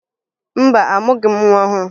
Mba, amụghị m nwa ọhụrụ